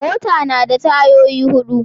Mota na da tayoyi hudu.